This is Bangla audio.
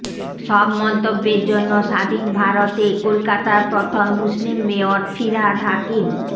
সব মন্তব্যের জন্য স্বাধীন ভারতে কলকাতার প্রথম মুসলিম মেয়র ফিরহাদ হাকিম